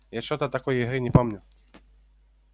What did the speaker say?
я что-то такой игры не помню